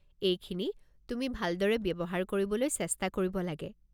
এইখিনি তুমি ভালদৰে ব্যৱহাৰ কৰিবলৈ চেষ্টা কৰিব লাগে।